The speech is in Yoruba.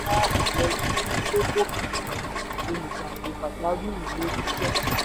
àyọrísí tó bófin mu olùgbapò pàjáwìrì lórí iṣẹ́.